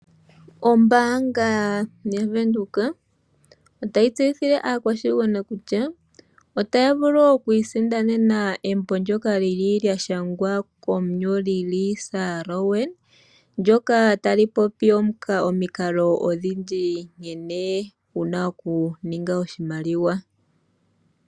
Ombaanga yaVenduka otayi tseyithile aakwashigwana kutya otaya vulu oku isindanena embo ndyoka lya shangwa komunyoli Lisa Rowan ndyoka tali popi omikalo odhindji nkene wu na okuninga oshimaliwa.